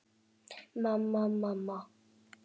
Mamma, mamma.